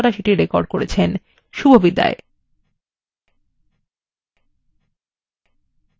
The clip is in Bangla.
রাধা এই tutorialটি অনুবাদ এবং অন্তরা সেটি রেকর্ড করেছেন এই tutorialএ অংশগ্রহন করার জন্য ধন্যবাদ শুভবিদায়